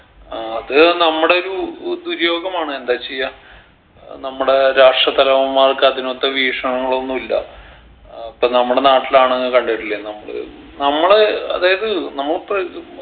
ഏർ അത് നമ്മുടെ ഒരുഉ ദുര്യോഗമാണ് എന്താ ചെയ്യാ ഏർ നമ്മടെ രാഷ്ട്ര തലവന്മാർക്ക് അതിനൊത്ത വീക്ഷണങ്ങളൊന്നു ഇല്ല അപ്പൊ നമ്മടെ നാട്ടിലാണെങ്കി കണ്ടിട്ടില്ലേ നമ്മള് നമ്മള് അതായത് നമ്മളെ പ്രകൃ